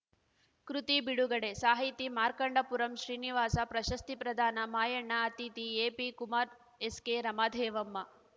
ಕೃತಿ ಬಿಡುಗಡೆ ಸಾಹಿತಿ ಮಾರ್ಕಂಡಪುರಂ ಶ್ರೀನಿವಾಸ ಪ್ರಶಸ್ತಿ ಪ್ರದಾನ ಮಾಯಣ್ಣ ಅತಿಥಿ ಎಪಿಕುಮಾರ್‌ ಎಸ್‌ಕೆರಮಾದೇವಮ್ಮ